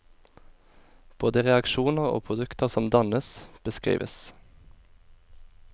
Både reaksjoner og produkter som dannes, beskrives.